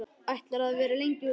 Ætlarðu að vera lengi úti?